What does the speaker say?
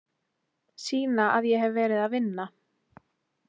Sýna að ég hef verið að vinna.